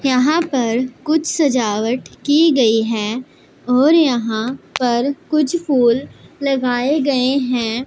यहां पर कुछ सजावट की गई है और यहां पर कुछ फूल लगाए गए हैं।